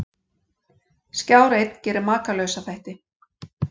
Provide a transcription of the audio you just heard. Skjár einn gerir Makalausa þætti